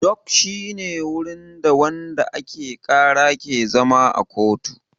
Dok shi ne wurin da wanda ake ƙara ke zama a kotu